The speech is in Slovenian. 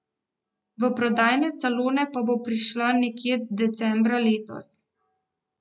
V prodajne salone pa bo prišla nekje decembra letos.